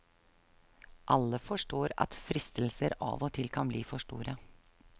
Alle forstår at fristelser av og til kan bli for store.